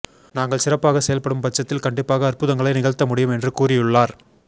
நாங்கள் சிறப்பாக செயல்படும் பட்சத்தில் கண்டிப்பாக அற்புதங்களை நிகழ்த்த முடியும் என்று கூறியுள்ளார்